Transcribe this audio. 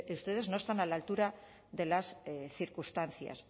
ustedes no están a la altura de las circunstancias